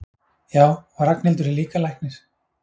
Já, og Ragnhildur er líka læknir.